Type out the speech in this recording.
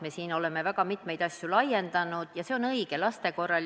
Me oleme siin väga mitmeid asju laiendanud ja see on õige, näiteks laste puhul.